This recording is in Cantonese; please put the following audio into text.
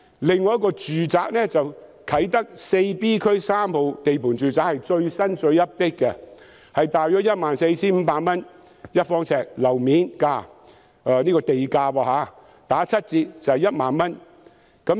另一幅用地是啟德第 4B 區3號地盤住宅用地，是最新、最 update 的，地價大約是每呎 14,500 元，七折後是1萬元。